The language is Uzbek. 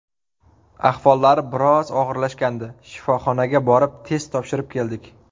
Ahvollari biroz og‘irlashgandi, shifoxonaga borib test topshirib keldik.